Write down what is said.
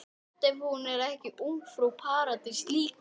Gott ef hún var ekki ungfrú Paradís líka.